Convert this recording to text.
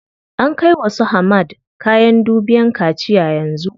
An kai wa su Hamad kayan dubiyan kaciya yanzu.